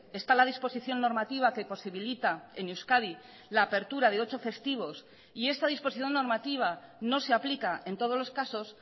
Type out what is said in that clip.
está la disposición normativa que posibilita en euskadi la apertura de ocho festivos y esta disposición normativa no se aplica en todos los casos